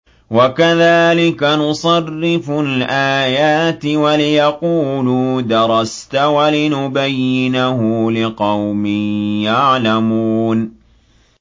وَكَذَٰلِكَ نُصَرِّفُ الْآيَاتِ وَلِيَقُولُوا دَرَسْتَ وَلِنُبَيِّنَهُ لِقَوْمٍ يَعْلَمُونَ